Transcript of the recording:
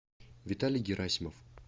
виталий герасимов